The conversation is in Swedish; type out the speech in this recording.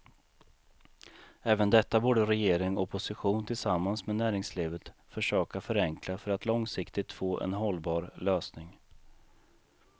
Även detta borde regering och opposition tillsammans med näringslivet försöka förenkla för att långsiktigt få en hållbar lösning.